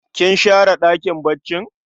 Kin share ɗakin baccin?